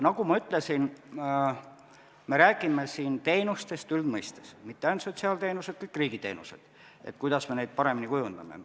Nagu ma ütlesin, me räägime siin teenustest üldmõistes, mitte ainult sotsiaalteenustest, vaid kõigist riigiteenustest, sellest, kuidas me neid paremini kujundame.